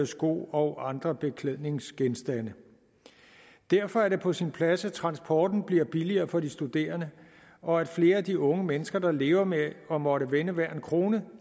sko og andre beklædningsgenstande derfor er det på sin plads at transporten bliver billigere for de studerende og at flere af de unge mennesker der lever med at måtte vende hver en krone